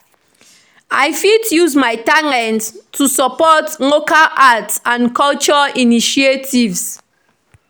I fit use my talents to support local arts and culture initiatives.